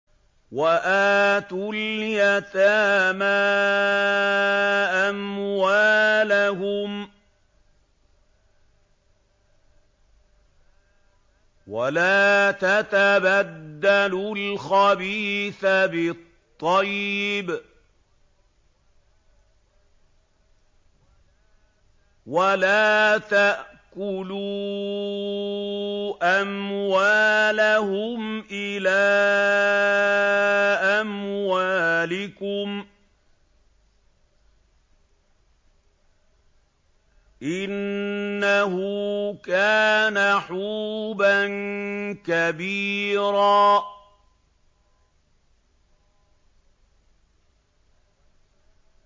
وَآتُوا الْيَتَامَىٰ أَمْوَالَهُمْ ۖ وَلَا تَتَبَدَّلُوا الْخَبِيثَ بِالطَّيِّبِ ۖ وَلَا تَأْكُلُوا أَمْوَالَهُمْ إِلَىٰ أَمْوَالِكُمْ ۚ إِنَّهُ كَانَ حُوبًا كَبِيرًا